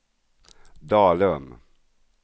Dalum